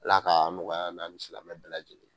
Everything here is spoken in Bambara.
Ala ka nɔgɔya an na ni silamɛ bɛ lajɛlen ye